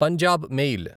Punjab mail